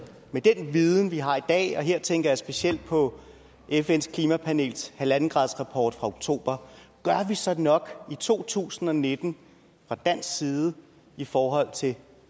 med den viden vi har i dag og her tænker jeg specielt på fns klimapanels halvandengradsrapport fra oktober gør vi så nok i to tusind og nitten fra dansk side i forhold til